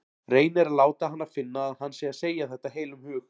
Reynir að láta hana finna að hann sé að segja þetta af heilum hug.